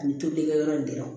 Ani tobilikɛyɔrɔ in dɔrɔn